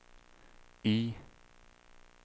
I